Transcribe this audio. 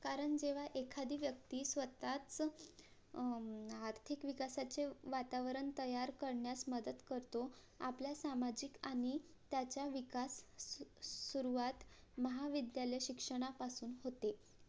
कारण एखादी व्यक्ती स्वतःच अं आर्थिक विकासाचे वातावरण तयार करण्यास मदत करतो आपल्या सामाजीक आणि त्याचा विकास सुरुवात महाविद्यालय शिक्षणापासून होते